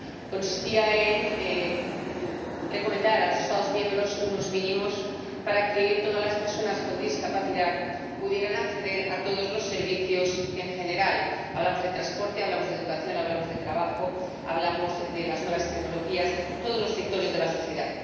Consistía en recomendar a los Estados miembros unos mínimos para que todas las personas con discapacidad pudieran acceder a todos los servicios en general hablamos de transporte, hablamos de educación, hablamos de trabajo, hablamos de las nuevas tecnologías todos los sectores de la sociedad.